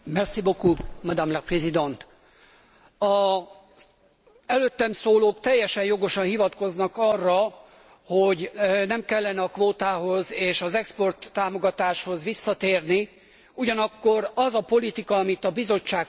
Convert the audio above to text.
Az előttem szólók teljesen jogosan hivatkoznak arra, hogy nem kellene a kvótához és az exporttámogatáshoz visszatérni, ugyanakkor az a politika, amit a Bizottság folytatott, az teljes csődöt mutatott.